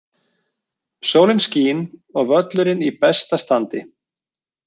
Sólin skín og völlurinn í besta standi.